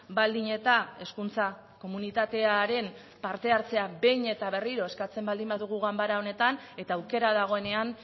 baldin eta hezkuntza komunitatearen partehartzea behin eta berriro eskatzen baldin badugu ganbara honetan eta aukera dagoenean